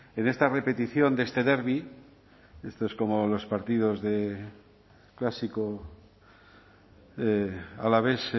en esta repetición de este derbi esto es como los partidos de clásico alavés